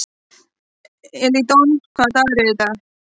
Edílon, hvaða dagur er í dag?